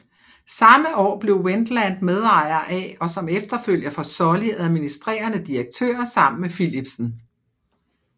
Samme år blev Wendlandt medejer af og som efterfølger for Sulley administrerende direktør sammen med Philipsen